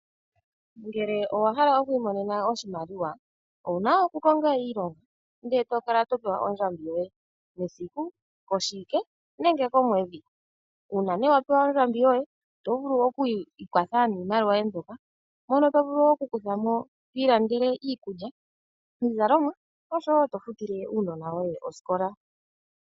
Ngele owa hala okuli monena oshimaliwa, Owu na okukonga iilonga nde tokala topewa ondjambi yoye mesiku, koshiwike, nenge komwedhi. Uuna ne wa pewa ondjambi yoye oto vulu okuyi ikwatha niimaliwa yoye mbyoka, mono tovulu wo okukutha mo twii landele iikulya, iizalomwa nosho wo tofutile uunona woye osikola.